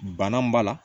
Bana b'a la